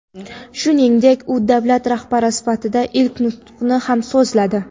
Shuningdek, u davlat rahbari sifatida ilk nutqini ham so‘zladi .